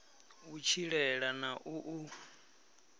u tshilela na u u